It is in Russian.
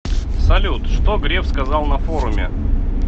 салют что греф сказал на форуме